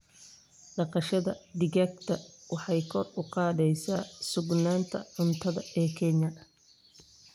Dhaqashada digaaga waxay kor u qaadaysaa sugnaanta cuntada ee Kenya.